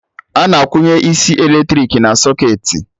Ana akwụnye isi eletrik na socketị